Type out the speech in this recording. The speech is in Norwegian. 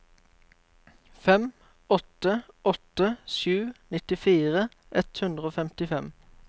fem åtte åtte sju nittifire ett hundre og femtifem